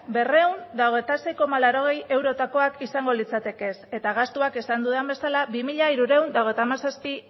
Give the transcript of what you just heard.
berrehun eta hogeita sei koma laurogei eurotakoak izango lirateke eta gastuak esan dudan bezala bi mila hirurehun eta hogeita hamazazpi